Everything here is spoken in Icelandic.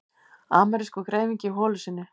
Amerískur greifingi í holu sinni.